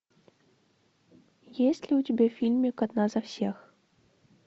есть ли у тебя фильмик одна за всех